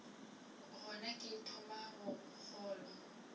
gona ke thomago go kgolwa